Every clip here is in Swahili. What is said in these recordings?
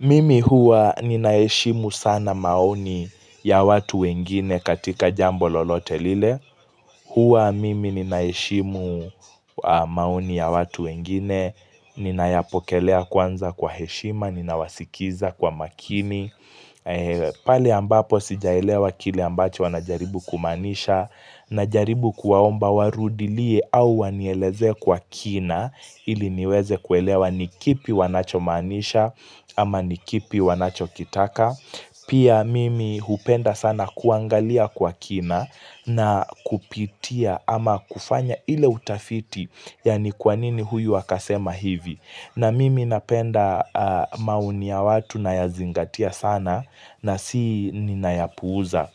Mimi huwa ninaheshimu sana maoni ya watu wengine katika jambo lolote lile. Huwa mimi ninaheshimu maoni ya watu wengine. Ninayapokelea kwanza kwa heshima, ninawasikiza kwa makini. Pale ambapo sijaelewa kile ambacho wanajaribu kumaanisha. Najaribu kuwaomba warudilie au wanielezee kwa kina. Ili niweze kuelewa ni kipi wanacho maanisha ama ni kipi wanacho kitaka Pia mimi hupenda sana kuangalia kwa kina na kupitia ama kufanya ile utafiti, yaani kwa nini huyu akasema hivi na mimi napenda maoni ya watu nayazingatia sana ninayapuuza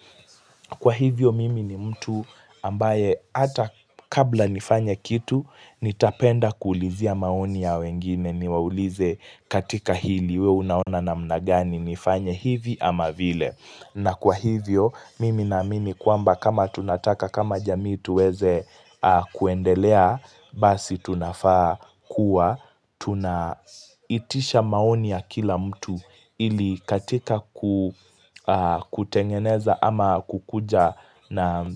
Kwa hivyo mimi ni mtu ambaye hata kabla nifanye kitu, nitapenda kuulizia maoni ya wengine niwaulize katika hili, we unaona namna gani, nifanye hivi ama vile. Na kwa hivyo, mimi namini kwamba kama tunataka kama jamii tuweze kuendelea, basi tunafaa kuwa, tunaitisha maoni ya kila mtu ili katika kutengeneza ama kukuja na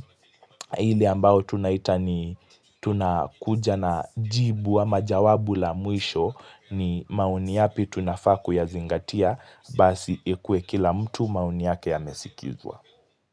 ile ambao tunaita ni tunakuja na jibu ama jawabu la mwisho ni maoni yapi tunafaa kuyazingatia, basi ikuwe kila mtu maoni yake yamesikizwa.